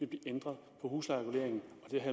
blive ændret på huslejereguleringen